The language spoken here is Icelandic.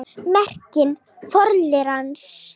Merking forliðarins